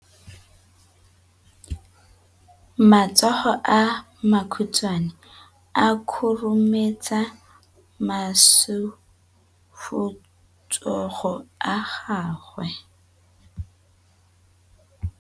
Matsogo a makhutshwane a khurumetsa masufutsogo a gago.